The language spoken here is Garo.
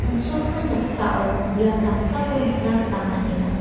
on·sogimin noksao biap damsako nikna gita man·enga.